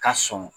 Ka sɔn